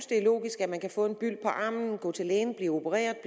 det er logisk at man kan få en byld på armen gå til lægen blive opereret og